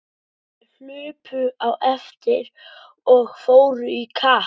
Þær hlupu á eftir og fóru í kapp.